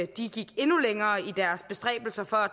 de gik endnu længere i deres bestræbelser på at